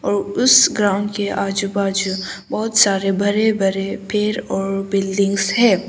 और उस ग्राउंड के आजू बाजू बहुत सारे बड़े बड़े पेड़ और बिल्डिंग्स हैं।